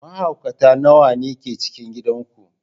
Mahaukata nawa ne ke cikin gidan ku?